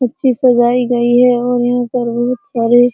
अच्छी सजाई गई है और यहाँ पर बहुत सारे --